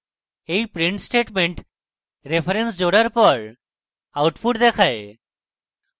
এই print statement array reference জোড়ার পর output দেখায়